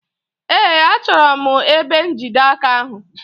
Ee, achọrọ m ebe njide aka ahụ.